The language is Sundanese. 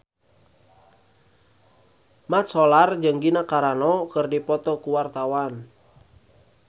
Mat Solar jeung Gina Carano keur dipoto ku wartawan